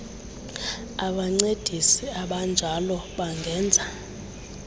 abancedisi abanjalo bangenza